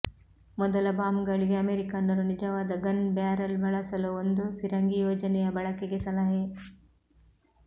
ಮೊದಲ ಬಾಂಬ್ಗಳಿಗೆ ಅಮೆರಿಕನ್ನರು ನಿಜವಾದ ಗನ್ ಬ್ಯಾರೆಲ್ ಬಳಸಲು ಒಂದು ಫಿರಂಗಿ ಯೋಜನೆಯ ಬಳಕೆಗೆ ಸಲಹೆ